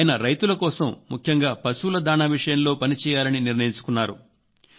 ఆయన రైతుల కోసం ముఖ్యంగా పశువుల దాణా విషయంలో పనిచేయాలని నిర్ణయించుకున్నారు